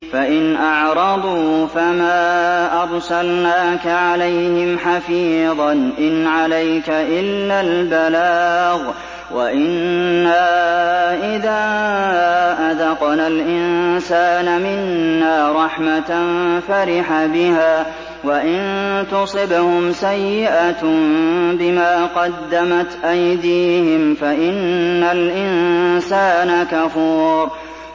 فَإِنْ أَعْرَضُوا فَمَا أَرْسَلْنَاكَ عَلَيْهِمْ حَفِيظًا ۖ إِنْ عَلَيْكَ إِلَّا الْبَلَاغُ ۗ وَإِنَّا إِذَا أَذَقْنَا الْإِنسَانَ مِنَّا رَحْمَةً فَرِحَ بِهَا ۖ وَإِن تُصِبْهُمْ سَيِّئَةٌ بِمَا قَدَّمَتْ أَيْدِيهِمْ فَإِنَّ الْإِنسَانَ كَفُورٌ